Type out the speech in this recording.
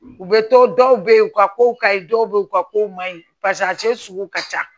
U bɛ to dɔw bɛ ye u ka kow kaɲi dɔw be yen u ka kow man ɲi a cɛ sugu ka ca